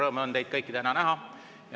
Suur rõõm on teid kõiki täna näha.